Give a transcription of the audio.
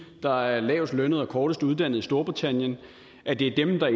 der er lavest lønnet og kortest uddannet i storbritannien at det er dem der